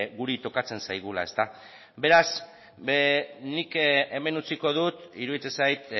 guri tokatzen zaigula ezta beraz nik hemen utziko dut iruditzen zait